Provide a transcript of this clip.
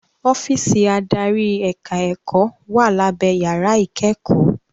Ọ́físì adarí ẹ̀ka ẹ̀kọ́ wà lábé yàrá ìkẹ́kọ̀ọ́.